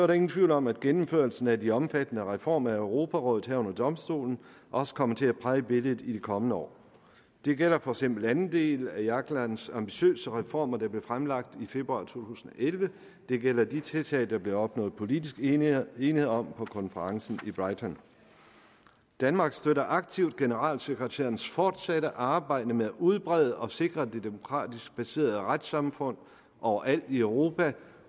der ingen tvivl om at gennemførelsen af de omfattende reformer af europarådet herunder domstolen også kommer til at præge billedet i de kommende år det gælder for eksempel anden del af jaglands ambitiøse reformer der blev fremlagt i februar to tusind og elleve og det gælder de tiltag der blev opnået politisk enighed enighed om på konferencen i brighton danmark støtter aktivt generalsekretærens fortsatte arbejde med at udbrede og sikre det demokratisk baserede retssamfund overalt i europa